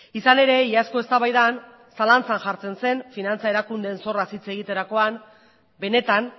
izan ere iazko eztabaidan zalantzan jartzen zen finantza erakundeen zorraz hitz egiterakoan benetan